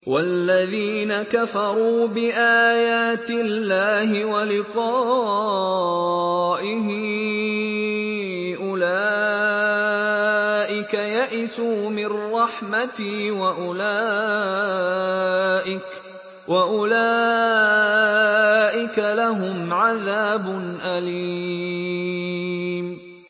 وَالَّذِينَ كَفَرُوا بِآيَاتِ اللَّهِ وَلِقَائِهِ أُولَٰئِكَ يَئِسُوا مِن رَّحْمَتِي وَأُولَٰئِكَ لَهُمْ عَذَابٌ أَلِيمٌ